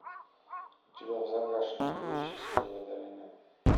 у тебя в загашнике есть счастливая долина